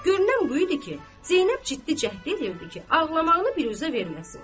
Görünən bu idi ki, Zeynəb ciddi cəhd eləyirdi ki, ağlamağını biruzə verməsin.